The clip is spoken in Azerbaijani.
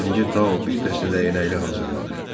Birinci Tao bir dəstə dəyənəkli hazırladı.